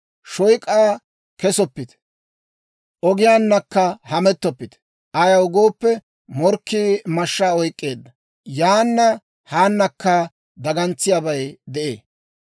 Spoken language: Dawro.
Shoyk'aa kesoppite; ogiyaanakka hamettoppite. Ayaw gooppe, morkkii mashshaa oyk'k'eedda; yaana haanakka dagantsiyaabay de'ee.